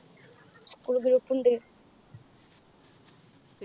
school group ഉണ്ട്